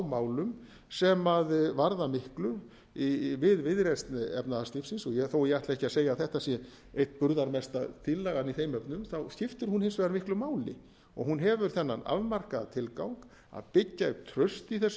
málum sem varða miklu við viðreisn efnahagslífsins þó ég ætli ekki að segja að þetta sé eitt burðarmesta tillagan í þeim efnum þá skiptir hún hins vegar miklu máli hún hefur þennan afmarkaða tilgang að byggja upp traust í þessu